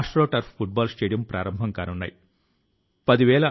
మనం మళ్ళీ భేటీ అవుదాం కానీ 2022వ సంవత్సరం లో